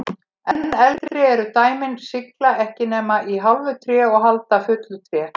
Enn eldri eru dæmin sigla ekki nema í hálfu tré og halda í fullu tré.